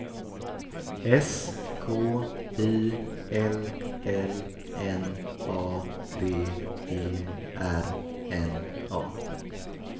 S K I L L N A D E R N A